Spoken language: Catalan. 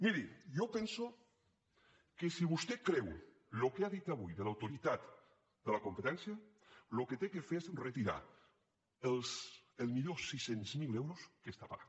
miri jo penso que si vostè creu el que ha dit avui de l’autoritat de la competència el que ha de fer és retirar el milió sis cents mil euros que està pagant